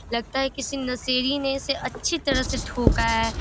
लगता है किसी नशेड़ी ने इसे अच्छी तरह से ठोका है।